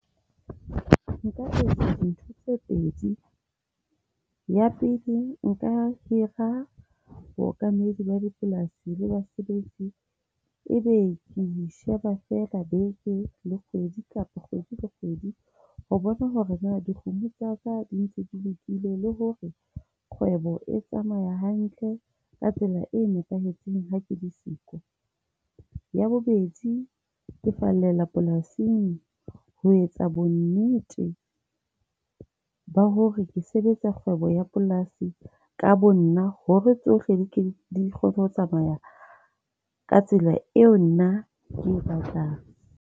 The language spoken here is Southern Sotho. Nka etsa ntho tse pedi. Ya pele nka hira bookamedi ba dipolasi la basebetsi. E be ke e sheba fela beke le kgwedi kapa kgwedi le kgwedi ho bona hore na dikgomo tsa ka di ntse di lokile le hore e tsamaya hantle ka tsela e nepahetseng, ha ke le siyo. Ya bobedi, ke fallela polasing ho etsa bonnete ba hore ke sebetsa kgwebo ya polasi ka bonna hore tsohle di ke kgone ho tsamaya ka tsela eo nna ke e batlang.